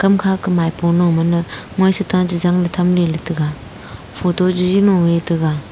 kam khaka maipolo mana moi sheta chechang le thamle ley taga photo chiji lo e taga.